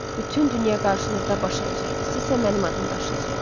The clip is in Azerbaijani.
Bütün dünya qarşınızda baş əyəcəkdi, sizsə mənim adımı daşıyacaqdınız.